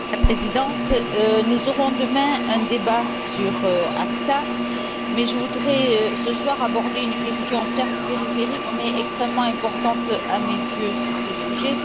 Madame la Présidente, nous aurons demain un débat sur l'ACTA mais je voudrais, ce soir, aborder une question, certes périphérique, mais extrêmement importante à mes yeux sur ce sujet.